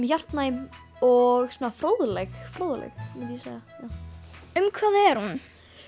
hjartnæm og fróðleg fróðleg myndi ég segja um hvað er hún